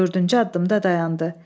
Dördüncü addımda dayandı.